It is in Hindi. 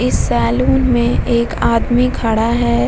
सैलून जो नाम लिखा हुआ है ऊपर में।